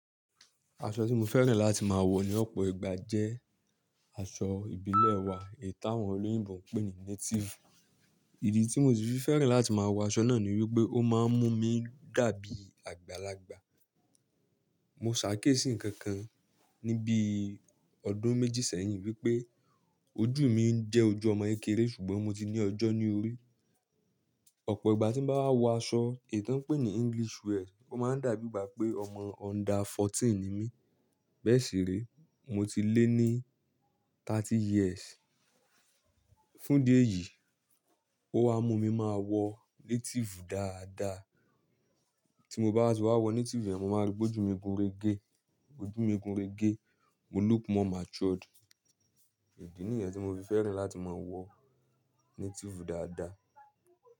Aṣọ tí mo fẹ́ràn láti máa wọ ní ọ̀pọ̀ ìgbà jẹ́ aṣọ ìbílẹ̀ wa, èyí tàwọn olóyìnbo ń pè ní native. Ìdí tí mo si fi fẹ́ràn láti máa wọ aṣọ náà ni wípé ó máa ń mú mi dàbí àgbàlagbà. Mo ṣàkiésì nǹkan kan ní bí ọdún méjì sẹ́yìn wípé ojú mi ń jẹ́ ojú ọmọ kékeré ṣùgbọ́n mo ti ní ọjọ́ ní orí. Ọ̀pọ̀ ìgbà tí n bá wọ aṣọ èyí tọ́ n ń pè ní English wear, ó máa ń dàbí ìgbà pé ọmọ under fourteen ni mí. Bẹ́ẹ̀ sì re, mo ti lé ní thirty years. Fún idí ẹ̀yì, ó wa mú mi máa wọ native dáadáa. Tí mo bá wa ti wá wọ native yẹ̀n, mo máa rí pe oju mi gúnrégé, óju mi gúnrégé, mo look more matured. Ìdí nìyẹn tí mo fi fẹ́ràn láti máa wọ native dáadáa.